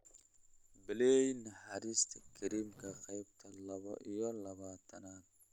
Play Naxariista kariimka qaybta laba iyo labaatanaad